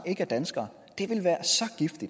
ikke er danskere det er det